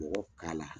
Mɔgɔ k'a la